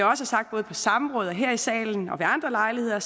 har sagt både på samråd her i salen og ved andre lejligheder